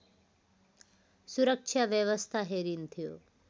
सुरक्षा व्यवस्था हेरिन्थ्यो